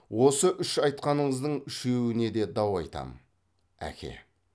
осы үш айтқаныңыздың үшеуіне де дау айтам әке